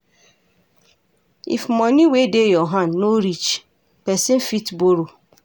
If money wey dey your hand no reach, person fit borrow